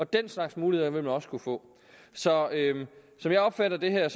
den slags muligheder vil man også kunne få så som jeg opfatter det her og